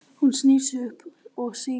Hún snýr upp á sig.